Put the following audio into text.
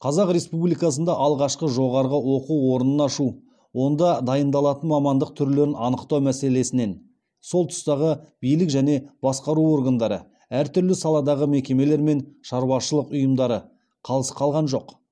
қазақ республикасында алғашқы жоғары оқу орнын ашу онда дайындалатын мамандық түрлерін анықтау мәселесінен сол тұстағы билік және басқару органдары әр түрлі саладағы мекемелер мен шаруашылық ұйымдары қалыс қалған жоқ